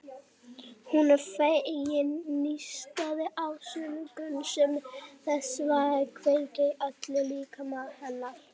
Hún er fegin nístandi sársaukanum sem þessi maður kveikir í öllum líkama hennar.